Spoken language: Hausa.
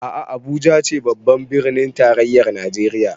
A'a Abuja ce babbar birnin tarayyar Najeriya